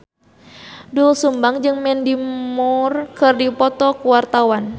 Doel Sumbang jeung Mandy Moore keur dipoto ku wartawan